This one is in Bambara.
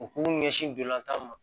U k'u ɲɛsin ntolatan ma